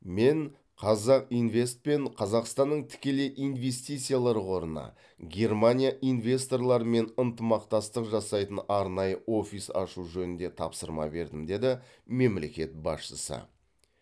мен қазақинвест пен қазақстанның тікелей инвестициялар қорына германия инвесторларымен ынтымақтастық жасайтын арнайы офис ашу жөнінде тапсырма бердім деді мемлекет басшысы